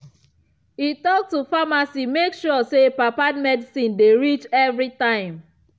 e talk to pharmacy make sure say papa medicine dey reach every time.